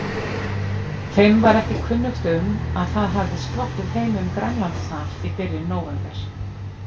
Þeim var ekki kunnugt um, að það hafði sloppið heim um Grænlandshaf í byrjun nóvember.